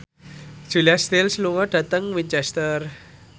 Julia Stiles lunga dhateng Winchester